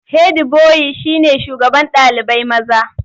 Hedi boyi shine shugaban ɗalibai maza.